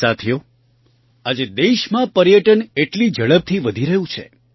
સાથીઓ આજે દેશમાં પર્યટન એટલી ઝડપથી વધી રહ્યું છે